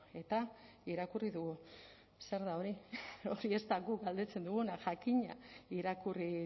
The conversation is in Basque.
eta irakurri dugu zer da hori hori ez da guk galdetzen duguna jakina irakurri